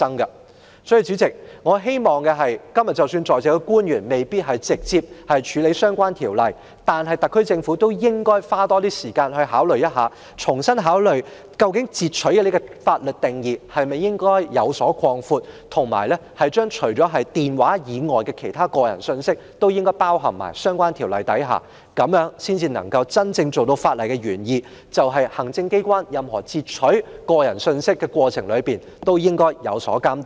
代理主席，即使今天在席的官員未必直接負責處理相關條例，但我亦希望特區政府多花時間，重新考慮應否擴闊"截取"的法律定義，以及把電話通話以外的個人信息納入相關條例之下，從而真正達到法例原意，就是行政機構在任何截取個人通訊的過程中都應受到監督。